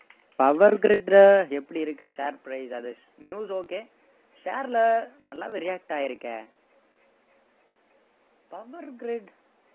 power grid எப்படி இருக்கு share price அது news okay share ல நல்லாவே react ஆகியிருக்கே power grid